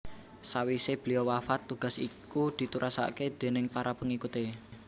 Sawisé beliau wafat tugas iku diterusaké déning para pengikuté